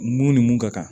Mun ni mun ka kan